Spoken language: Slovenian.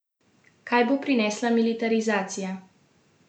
Kaj bo prinesla militarizacija?